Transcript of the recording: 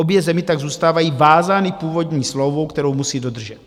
Obě země tak zůstávají vázány původní smlouvou, kterou musí dodržet.